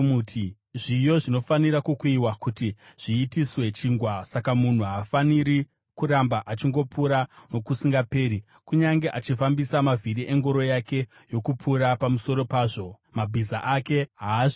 Zviyo zvinofanira kukuyiwa kuti zviitiswe chingwa; saka munhu haafaniri kuramba achingopura nokusingaperi. Kunyange achifambisa mavhiri engoro yake yokupura pamusoro pazvo, mabhiza ake haazvikuyi.